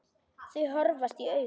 Þau horfast í augu.